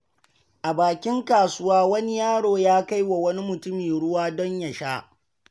A bakin kasuwa, wani yaro ya kai wa wani mutumi ruwa don ya sha.